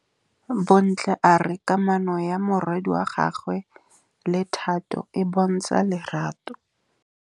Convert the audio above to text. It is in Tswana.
Bontle a re kamanô ya morwadi wa gagwe le Thato e bontsha lerato.